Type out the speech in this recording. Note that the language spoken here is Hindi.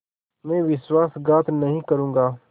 मैं विश्वासघात नहीं करूँगा